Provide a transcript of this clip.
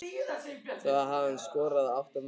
Þá hafði hann skorað átta mörk.